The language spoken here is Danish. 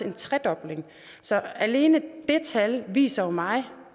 en tredobling så alene det tal viser jo mig